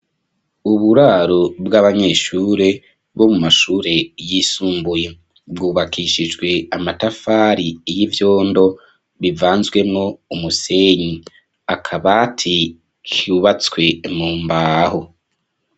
Uburaro bw'abanyeshure bo mu mashure yisumbuye bwubakishijwe amatafari y'ivyondo, bivanzwemwo umusenyi. Akabati kubatswe mu mbaho.